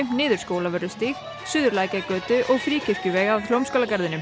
niður Skólavörðustíg suður Lækjargötu Fríkirkjuveg að Hljómskálagarðinum